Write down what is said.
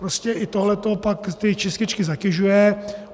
Prostě i tohle to pak ty čističky zatěžuje.